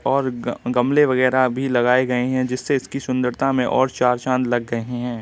और गा- गामले वगैरा भी लगाए गए हैं जिससे इसकी सुंदरता भी और चार चांद लग गए हैं।